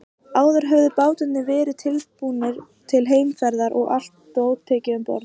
Áður höfðu bátarnir verið útbúnir til heimferðar og allt dót tekið um borð.